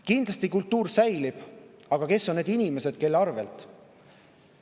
Kindlasti kultuur säilib, aga kes on need inimesed, kelle arvel?